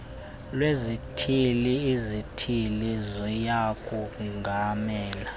lwezithili izithili ziyakongamela